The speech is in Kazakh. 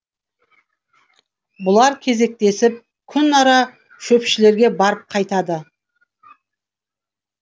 бұлар кезектесіп күн ара шөпшілерге барып қайтады